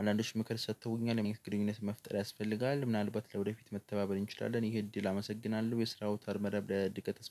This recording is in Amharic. አንዳንዶች ምክር ሰጥተውኛል ግንኙነት መፍጠር ያስፈልጋል ምናልባት ለወደፊት መተባበር እንችላለን። ይሄ እድል አመሰግናለሁ የስራው ተር መደብ ለድቀት